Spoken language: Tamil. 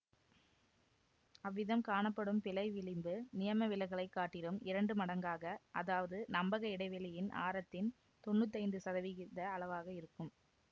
அவ்விதம் காணப்படும் பிழை விளிம்பு நியமவிலகலைக் காட்டிலும் இரண்டு மடங்காக அதாவது நம்பக இடைவெளியின் ஆரத்தின் தொன்னூத்தி ஐந்து சதவிகித அளவாக இருக்கும்